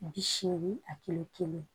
Bi seegin a kɛmɛ